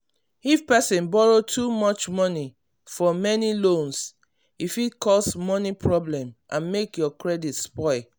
if person borrow too much money for many loans e fit cause money problem and make your credit spoil.